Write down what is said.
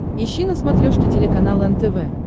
ищи на смотрешке телеканал нтв